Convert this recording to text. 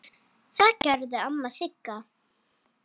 Það gerði amma Sigga.